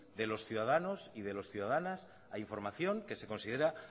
de los ciudadanos y de las ciudadanas a información que se considera